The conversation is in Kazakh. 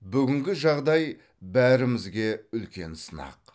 бүгінгі жағдай бәрімізге үлкен сынақ